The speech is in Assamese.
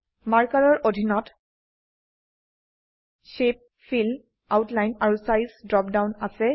মাৰ্কাৰ এৰ অধিনত শেপ ফিল আউটলাইন আৰু চাইজ ড্ৰপ ডাউন আছে